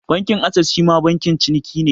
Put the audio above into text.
Bankin Ases shima bankin ciniki ne.